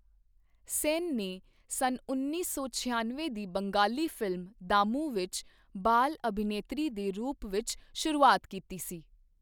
ਸੇਨ ਨੇ ਸੰਨਉੱਨੀ ਸੌ ਛਿਆਨਵੇਂ ਦੀ ਬੰਗਾਲੀ ਫ਼ਿਲਮ ਦਾਮੂ ਵਿੱਚ ਬਾਲ ਅਭਿਨੇਤਰੀ ਦੇ ਰੂਪ ਵਿੱਚ ਸ਼ੁਰੂਆਤ ਕੀਤੀ ਸੀ।